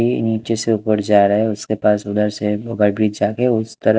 ये नीचे से ऊपर जा रहा है उसके पास उधर उस तरफ--